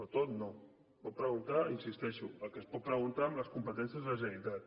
no tot no es pot preguntar hi insisteixo el que es pot preguntar amb les competències de la generalitat